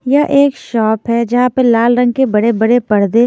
यह एक शॉप है जहां पर लाल रंग के बड़े-बड़े पर्दे--